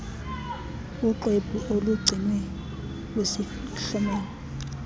uxwebhu olugcinwe kwisihlomelo